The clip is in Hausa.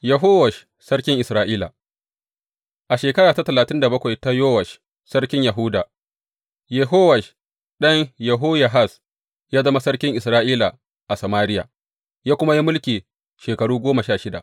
Yehowash sarkin Isra’ila A shekaru talatin da bakwai ta Yowash sarkin Yahuda, Yehowash ɗan Yehoyahaz ya zama sarkin Isra’ila a Samariya, ya kuma yi mulki shekaru goma sha shida.